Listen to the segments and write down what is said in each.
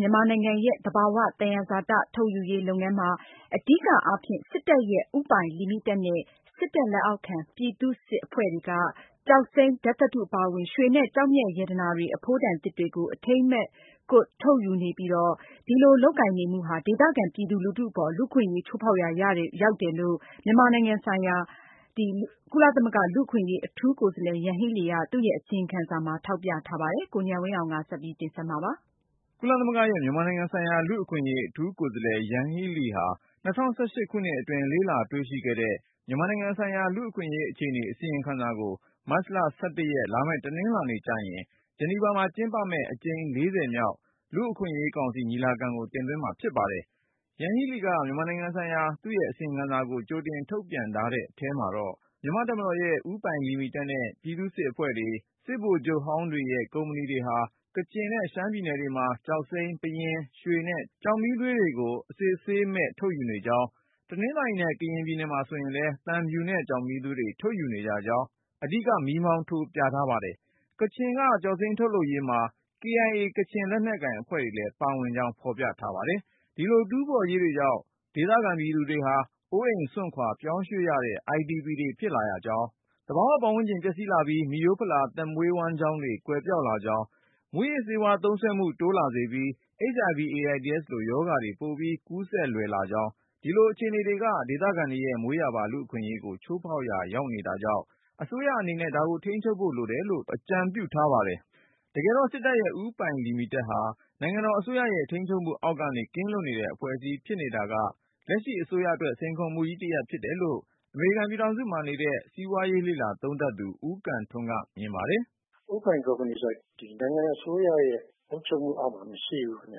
မြန်မာနိုင်ငံရဲ့ သဘာဝသယံဇာတ ထုတ်ယူရေးလုပ်ငန်းမှာ အဓိကအားဖြင့် စစ်တပ်ရဲ့ ဦးပိုင်လီမီတက်နဲ့ စစ်တပ်လက်အောက်ခံ ပြည်သူ့စစ် အဖွဲ့တွေက ကျောက်စိမ်း၊ ဓါတ်သတ္တု အပါအဝင် ရွှေနဲ့ ကျောက်မျက်ရတနာတွေ အဖိုးတန်သစ်တွေကို အထိန်းအကွပ်မဲ့ ထုတ်ယူနေပြီး၊ အဲဒီအဖွဲ့တွေက ပွင့်လင်းမြင်သာမှု မရှိတာ၊ တာဝန်ခံမှု တာဝန်ယူမှု မရှိတာတွေက ဒေသခံပြည်သူလူထုအပေါ် လူ့အခွင့်အရေး ချိုးဖေါက်ရာ ရောက်တယ်လို့ ရှေ့သီတင်းပတ်ထဲတင်သွင်းမယ့် မြန်မာနိုင်ငံဆိုင်ရာ လူ့အခွင့်အရေး အထူးကိုယ်စားလှယ် ယန်ဟီးလီရဲ့ အစီရင်ခံစာမှာ ဖေါ်ပြထားပါတယ်။ ကိုဉာဏ်ဝင်းအောင်က တင်ပြထားပါတယ်။ ကုလသမဂ္ဂရဲ့ မြန်မာနိုင်ငံဆိုင်ရာ လူ့အခွင့်အရေး အထူးကိုယ်စားလှယ် ယန်ဟီးလီဟာ ၂၀၁၈ ခုနှစ်အတွင်း လေ့လာတွေ့ရှိခဲ့တဲ့ မြန်မာနိုင်ငံ ဆိုင်ရာ လူ့အခွင့်အရေးအခြေအနေ အစီရင်ခံစာကို မတ်လ(၁၁)ရက် လာမယ့် တနင်္လာနေ့ကျရင် ဂျနီဗာမှာကျင်းပမယ့် အကြိမ်(၄၀)မြောက် လူ့အခွင့်အရေးကောင်စီ ညီလာခံကို တင်သွင်းမှာဖြစ်ပါတယ်။ ယန်ဟီးလီက မြန်မာနိုင်ငံဆိုင်ရာသူ့အစီရင်ခံစာကို ကြိုတင်ထုတ်ပြန်ထားတဲ့ အထဲမှာတော့ မြန်မာ့တပ်မတော်ရဲ့ ဦးပိုင်လီမီတက်နဲ့ ပြည်သူ့စစ် အဖွဲ့တွေ၊ စစ်ဗိုလ်ချုပ်ဟောင်းတွေရဲ့ ကုမ္ပဏီတွေဟာ ကချင်နဲ့ ရှမ်းပြည်နယ်တွေမှာ ကျောက်စိမ်း၊ ပယင်း၊ ရွှေနဲ့ ကျောက်မီးသွေးတွေကို အစစ်အဆေးမဲ့ ထုတ်ယူနေကြောင်း၊ တနင်္သာရီနဲ့ ကရင်ပြည်နယ်မှာဆိုရင်လည်း သံဖြူနဲ့ ကျောက်မီးသွေးတွေ ထုတ်ယူနေကြကြောင်း အဓိက မီးမောင်းထိုး ပြထားပါတယ်။ ကချင်က ကျောက်စိမ်းထုတ်ယူရေးမှာ KIA ကချင်လက်နက်ကိုင်အဖွဲ့လည်း ပါကြောင်းဖေါ်ပြထား ပါတယ်။ ဒီလိုတူးဖေါ်ရေးတွေကြောင့် ဒေသခံပြည်သူတွေဟာ အိုးအိမ်စွန့်ခွာပြောင်းရွှေ့ရတဲ့ IDP တွေဖြစ်လာရကြောင်း၊ သဘာဝ ပတ်ဝန်းကျင် ပျက်စီးလာပြီး မိရိုးဖလာ သက်မွေးဝမ်းကျောင်းတွေ ကွယ်ပျောက်လာကြောင်း၊ မူးယစ်ဆေးဝါးသုံးစွဲမှု တိုးလာစေပြီး HIV/AIDS လိုရောဂါတွေ ပိုပြီးကူးစက်လွယ်လာကြောင်း၊ ဒီလိုအခြေအနေတွေက ဒေသခံတွေရဲ့မွေးရာပါ လူ့အခွင့်အရေးကို ချိုးဖေါက်ရာ ရောက်နေတာကြောင့် အစိုးရအနေနဲ့ ဒါကိုထိန်းချုပ်ဖို့ လိုတယ်လို့ အကြံပြုထားပါတယ်။ တကယ်တေ့ာ စစ်တပ်ရဲ့ ဦးပိုင်လီမီတက်ဟာ နိုင်ငံတော်အစိုးရရဲ့ထိန်းချုပ်မှု အောက်ကနေ ကင်းလွတ်နေတဲ့ အဖွဲ့အစည်းဖြစ်နေတာက လက်ရှိ အစိုးရအတွက် စိန်ခေါ်မှုကြီးတရပ် ဖြစ်တယ်လို့ အမေရိကန်ပြည်ထောင်စုမှာနေတဲ့ စီးပွားရေးလေ့လာသုံးသပ်သူ ဦးကံထွန်းက မြင်ပါတယ်။ " ဦးပိုင် ကုမ္ပဏီဆိုတာ ဒီ နိုင်ငံ အစိုးရရဲ့ အုပ်ချုပ်မှုအောက်မှာ မရှိဘူး ခင်ဗျ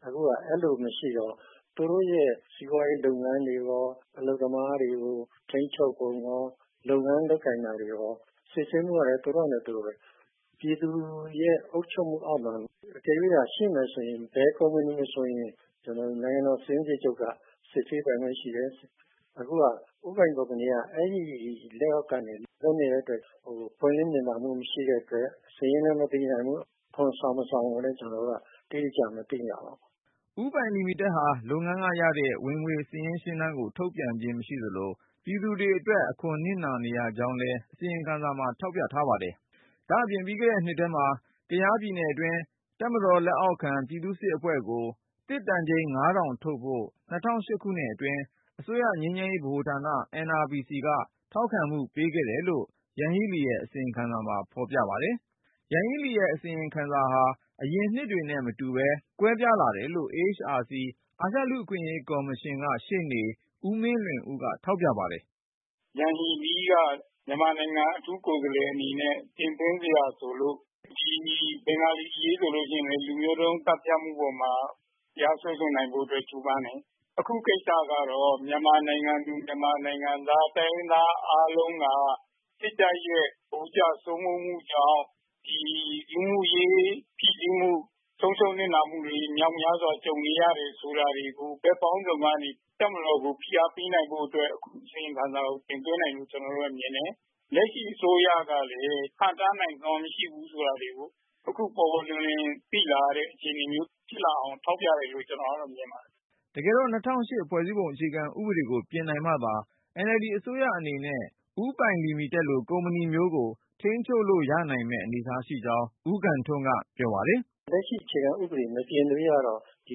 ။ အခုဟာ အဲလို မရှိတော့ သူတို့ရဲ့ စီးပွားရေး လုပ်ငန်းတွေရော အလုပ်သမားတွေကို ထိန်းချုပ်ပုံရော လုပ်ငန်း လုပ်ကိုင်တာတွေရော စစ်ဆေးမှုရော သူတို့ဟာနဲ့သူတို့ဘဲ။ ပြည်သူရဲ့ အုပ်ချုပ်မှုအောက်မှာ တကယ်လို့သာ ရှိမယ်ဆိုရင် ဘယ်ကုမ္ပဏီကို မဆိုရင် နိုင်ငံတော် စာရင်းစစ်ချုပ်က စစ်ဆေးပိုင်ခွင့် ရှိတယ်။ အခုဟာ ဦးပိုင် ကုမ္ပဏီက အဲဒီ လက်အောက်ကနေ လွတ်နေတဲ့ အတွက် ပွင့်လင်းမြင်သာမှု မရှိတဲ့ အတွက် စာရင်းလည်း မသိရဘူး။ အခွန်ဆောင် မဆောင်ကိုလည်း ကျနော်တို့က အတိအကျ မသိရပါဘူး။ " ဦးပိုင်လီမီတက်ဟာ လုပ်ငန်းကရတဲ့ ဝင်ငွေစာရင်းရှင်းတမ်းကို ထုတ်ပြန်ခြင်းမရှိသလို၊ ပြည်သူတွေအတွက် အခွန်နစ်နာနေရကြောင်းလည်း အစီရင်ခံစာမှာထောက်ပြပါတယ်။ ဒါ့အပြင် ပြီးခဲ့တဲ့နှစ်ထဲမှာ ကယားပြည်နယ်အတွင်း တပ်မတော်လက်အောက်ခံ ပြည်သူ့စစ်အဖွဲ့ကို သစ်တန်ချိန် (၅၀၀၀)ထုတ်ဖို့ ၂၀၁၈ ခု အတွင်း အစိုးရငြိမ်းချမ်းရေး ဗဟိုဌာန NRPC က ထောက်ခံမှုပေးခဲ့တယ်လို့ ယန်ဟီးလီရဲ့ အစီရင်ခံစာမှာ ဖေါ်ပြထားပါတယ်။ ယန်ဟီးလီရဲ့ အစီရင်ခံစာဟာ အရင်နှစ်တွေနဲ့မတူပဲ ကွဲပြားလာတယ်လို့ AHRC အာရှလူ့အခွင့်အရေးကော်မရှင်က ရှေ့နေ ဦးမင်းလွင်ဦးက ထောက်ပြ ပါတယ်။ " ယန်ဟီလီးက မြန်မာနိုင်ငံ အထူးကိုယ်စားလှယ် အနေနဲ့ တင်သွင်းစရာ ဆိုလို့ ဒီဘင်္ဂါလီ အရေးဆိုရင်လည်း လူမျိုးတုံး သတ်ဖြတ်မှု အပေါ်မှာ တရားစွဲဆိုနိုင်ဖို့ အတွက် ကြိုးပမ်းတယ်။ အခုကိစ္စကတော့ မြန်မာနိုင်ငံသူ မြန်မာနိုင်ငံသား တိုင်းရင်းသား အားလုံးက စစ်တပ်ရဲ့ ဗိုလ်ကျ စိုးမိုးမှုကြောင့် ဒီ လူမှုရေး ဖိစီးမှု၊ ဆုံးရှုံး နစ်နာမှုတွေ မြောက်များစွာ ကြုံနေရတယ်ဆိုတာတွေကို ဘက်ပေါင်းစုံကနေ တပ်မတော်ကို ဖိအားပေးနိုင်ဖို့ အတွက် အခု အစီရင်ခံစာကို တင်သွင်းတယ်လို့ ကျနော်တို့ကတော့ မြင်တယ်။ လက်ရှိ အစိုးရကလည်း ဟန့်တားနိုင်စွမ်း မရှိဘူးဆိုတာတွေကို အခု ပေါ်ပေါ်လွင်လွင် သိလာရတဲ့ အခြေအနေမျိုး ဖြစ်လာအောင် ထောက်ပြတယ်လို့ ကျနော်ကတော့ မြင်ပါတယ်။ " တကယ်တော့ ၂၀၀၈ ဖွဲ့စည်းပုံအခြေခံဥပဒေကို ပြင်နိုင်မှသာ NLD အစိုးရအနေနဲ့ ဦးပိုင်လီမီတက်လို့ ကုမ္ပဏီမျိုးကို ထိန်းချုပ်လို့ရနိုင်မယ့် အနေအထားမှာရှိကြောင်း ဦးကံထွန်းက ပြောပါတယ်။ " လက်ရှိ အခြေခံ ဥပဒေ မပြင်သရွေ့ကတော့ ဒီ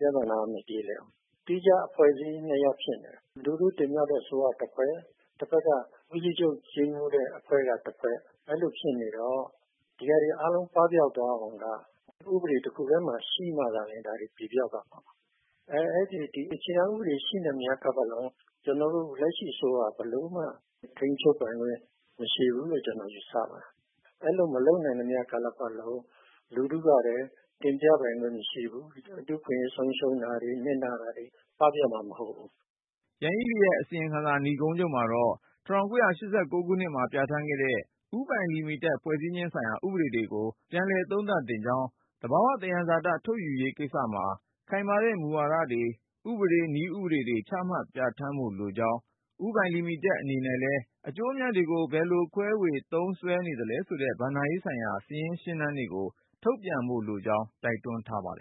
ပြသနာက မပြေလည်ဘူး။ သီးခြား အဖွဲ့အစည်း နှစ်ရပ် ဖြစ်နေတယ်။ လူထုတင်မြှောက်တဲ့ အစိုးရက တဖက် ၊ တဖက်က ဦးစီးချုပ် ကြီးမှူးတဲ့ အဖွဲ့က တဖက် အဲလို ဖြစ်နေတော့ ဒီဟာတွေ အားလုံး ပပျောက်သွားအောင်က ဥပဒေ တခုတည်းမှာ ရှိမှသာလျင် ဒါ ပြေပျောက်သွားမှာပါ။ ဒီအခြေခံ ဥပဒေ ရှိနေသမျှ ကာလပတ်လုံး ကျနော်တို့ လက်ရှိ အစိုးရ ဘယ်လိုမှ ထိန်းချုပ်ပိုင်ခွင့် မရှိဘူးလို့ ကျနော် ယူဆပါတယ်။ အဲလို မလုပ်နိုင်သမျှ ကာလပတ်လုံး လူထုကလည်း တင်မြှောက်ပိုင်ခွင့် မရှိဘူး၊ လူ့အခွင့်အရေး ဆုံးရှုံးတာတွေ၊ နစ်နာတာတွေ၊ ပပျောက်မှာ မဟုတ်ဘူး။ " ယန်ဟီးလီရဲ့အစီရင်ခံစာ နိဂုံးချုပ်မှာတော့ ၁၉၈၉ ခုနှစ်က ပြဌာန်းခဲ့တဲ့ ဦးပိုင်လီမီတက် ဖွဲ့စည်းခြင်းဆိုင်ရာ ဥပဒေတွေကို ပြန်လည်သုံးသပ် သင့်ကြောင်း၊ သဘာဝသယံဇာတ ထုတ်ယူရေးကိစ္စမှာ ခိုင်မာတဲ့ မူဝါဒတွေ၊ ဥပဒေ နည်းဥပဒေတွေ ချမှတ်ပြဌာန်းဖို့ လိုကြောင်း၊ ဦးပိုင်လီမီတက် အနေနဲ့လည်း အကျိုးအမြတ်တွေကို ဘယ်လိုခွဲဝေ သုံးစွဲနေသလဲဆိုတဲ့ ဘဏ္ဍာရေးဆိုင်ရာ စာရင်းရှင်းတမ်းတွေကို ထုတ်ပြန်ဖို့ လိုကြောင်း တိုက်တွန်းထားပါတယ်